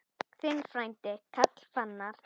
Þinn frændi, Karl Fannar.